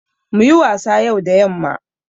Muyi wasa yau da yamma